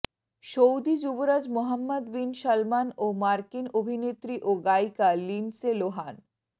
Saudi যুবরাজ Mohammed bin Salman ও মার্কিন অভিনেত্রী ও গায়িকা লিন্ডসে লোহান